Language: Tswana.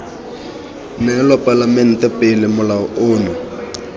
neelwa palamente pele molao ono